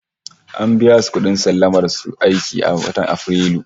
An biya su kudin sallamar su aiki a watan Afrilu